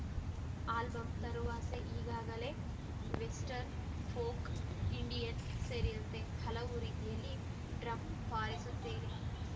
album ತರುವಾಸೆ ಈಗಾಗಲೇ western folk Indian ಸೇರಿಯಂತೆ ಹಲವು ರೀತಿಯಲ್ಲಿ ಡ್ರಮ್‌ ಬಾರಿಸುತ್ತೇನೆ